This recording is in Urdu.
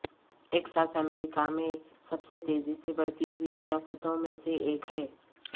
ٹیکساس امریکہ میں سب سے تیزی سے بڑھتی ہوئی ریاستوں میں سے ایک ہے